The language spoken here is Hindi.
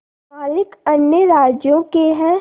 मालिक अन्य राज्यों के हैं